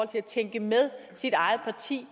til at tænke med sit eget parti